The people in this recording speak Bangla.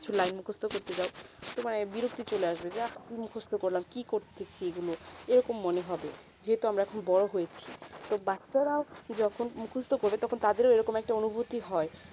কিছু line মুখস্ত করতে জাও তোমার আইবির কিছু লাগবে যা মুখস্ত করলাম কি করতেছি এই গুলু এইরকম মনে হবে যে তো আমরা বোরো হয়েছি তো বাচ্চা রা যখন মুখস্ত করে তখন তাদেরও এইরকম অনুভূতি হয়ে